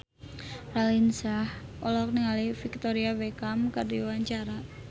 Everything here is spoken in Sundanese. Raline Shah olohok ningali Victoria Beckham keur diwawancara